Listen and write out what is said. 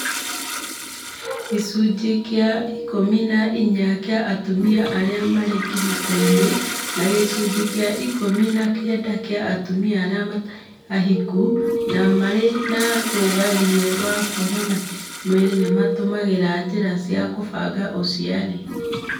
Gĩcunjĩ kĩa ikũmi na inya kĩa atumia arĩa marĩ kĩhiko inĩ na gĩcunjĩ kĩa ikũmi na kenda kĩa atumia arĩa matarĩ ahiku na marĩ na rũgarĩ wa kuonana kĩ-mwĩrĩ nĩmatũmagĩra njiĩra cia kũbanga ũciari